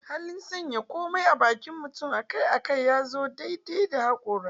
Halin sanya komai a bakin mutum akai-akai ya zo daidai da hakora.